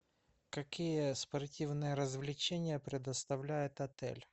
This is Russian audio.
какие спортивные развлечения предоставляет отель